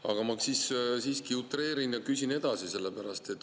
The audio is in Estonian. Aga ma siiski utreerin ja küsin edasi.